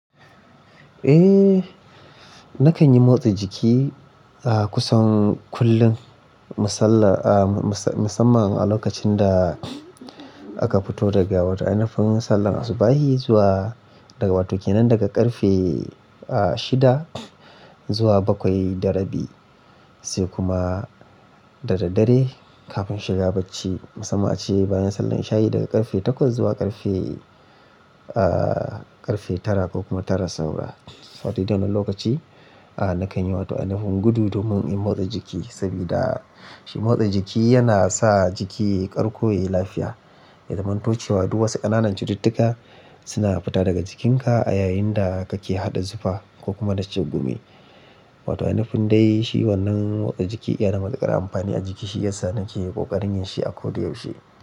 Eh, na kan yi motsa jiki, ah, kusan kullum musamman a lokacin da aka fito daga wata ainafun sallah asuba'i zuwa daga wa toh kenan daga karfe shida zuwa bakwai da rabi, sai kuma da dadare kafin shiga bacci musamman a ce bayan sallah isha'i daga karfe takwas zuwa karfe karfe tara ko kuma tara saura. Wa toh dai-dai lokaci ah, na kan yi wa toh ainafun gudu domin in motsa jiki sabida shi motsa jiki yana sa jiki ya karƙo ya yi lafiya. Ya zamanto cewa duk wasu ƙananan cututtuka suna fita daga jikinka a yayin da kake haɗa zufa ko kuma da cegunmi. Wa toh, ainafun dai shi wannan motsa jiki iya namaka ƙara amfani a jiki shi ya sa na ke ƙoƙarin yin shi a koda yaushe.